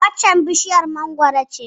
Waccan bishiyar mangwaro ce